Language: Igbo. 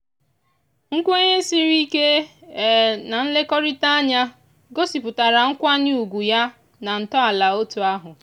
nkwenye sịrị ike na nlekọrịta anya gosipụtara nkwanye ugwu ya na ntọala otu ahụ.